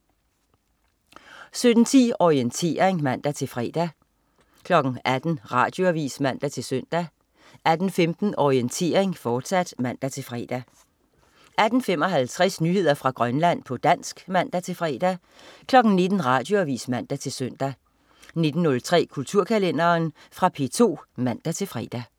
17.10 Orientering (man-fre) 18.00 Radioavis (man-søn) 18.15 Orientering, fortsat (man-fre) 18.55 Nyheder fra Grønland, på dansk (man-fre) 19.00 Radioavis (man-søn) 19.03 Kulturkalenderen. Fra P2 (man-fre)